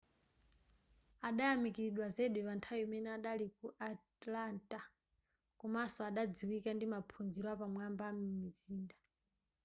adayamikiridwa zedi panthawi imene adali ku atlanta komanso adadziwika ndi maphunziro apamwamba am'mizinda